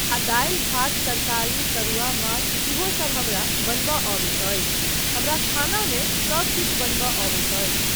आ दालि, भात, तरकारी, तरुआ, माछ इहोसब हमरा बनयबा अबैत अछि, हमरा खानामे सब किछु बनयबा अबैत अछि।